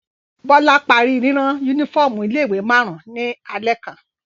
Bọ́lá parí rírán únífọ́ọ́mù ilé-ìwé márùn-ún ní alẹ́ kan.